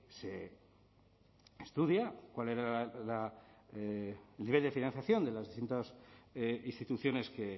se estudia cuál era la el nivel de financiación de las distintas instituciones que